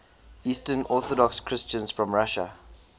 eastern orthodox christians from russia